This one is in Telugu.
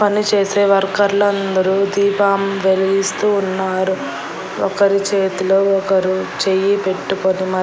పని చేసే వర్కర్లు లు అందరూ దీపం వెలిగిస్తూ ఉన్నారు ఒకరు చేతిలో ఒకరు చెయ్యి పెట్టుకొని మ.